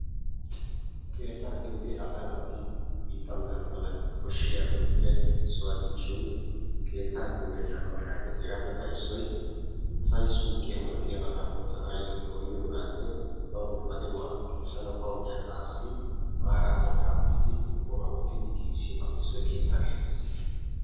Keettaa giyooge asa naati biittan dana mala koshshiyaabatuppe issuwa gidishin keettaa giyoogee naa''aw shaahetees. Hegappekka issoy asay suqqiya malatiyaabata oottanayyo dooyiyooganne baw ba de'uwaa giigissanaw baw de'anassi maara mankka oyttidi qorqqoruwaa wottidi giigissiyaabappe issoy keettaa getettees.